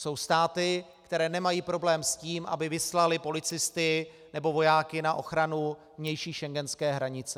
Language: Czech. Jsou státy, které nemají problém s tím, aby vyslaly policisty nebo vojáky na ochranu vnější schengenské hranice.